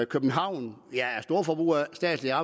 københavn er storforbruger af statslige